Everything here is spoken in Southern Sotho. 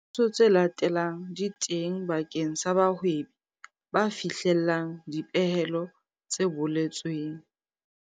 Dithuso tse latelang di teng bakeng sa bahwebi ba fihlellang dipehelo tse boletsweng.